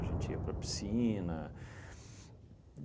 A gente ia para a piscina.